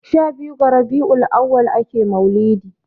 shabiyu ga rabiul auwal ake maulidi